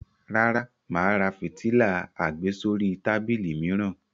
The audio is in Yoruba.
Rárá, mà á ra fìtílà àgbésórí tábìlì mìíràn.